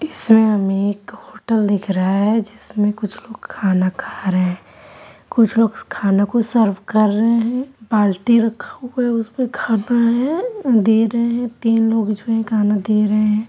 इस में एक होटल दिख रहा है जिसमें कुछ लोग खाना खा रहें हैं कुछ लोग खाना को सर्वे कर रहे हैं बाल्टी रखा हुआ है उसपे खाना है | दे रहे हैं तीन लोग जो हैं खाना दे रहे हैं |